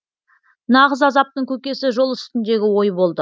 нағыз азаптың көкесі жол үстіндегі ой болды